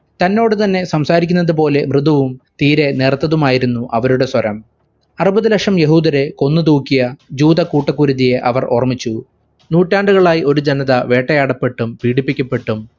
തന്നോടു തന്നെ സംസാരിക്കുന്നതു പോലെ മൃതുവും തീരെ നേർത്തതുമായിരുന്നു അവരുടെ സ്വരം. അറുപതുലക്ഷം യഹൂദരെ കൊന്നുതൂക്കിയ ജൂദ കൂട്ടുകൊരുത്തിയെ അവർ ഓർമിച്ചു. നൂറ്റാണ്ടുകളായി ഒരു ജനത വേട്ടയാടപ്പെട്ടും പീഡിപ്പിക്കപ്പെട്ടും